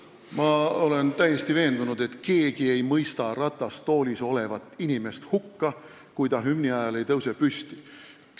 Ma olen täiesti veendunud, et keegi ei mõista ratastoolis olevat inimest hukka, kui ta hümni ajal püsti ei tõuse.